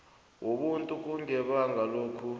wobuntu kungabanga lokhu